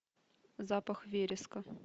запах вереска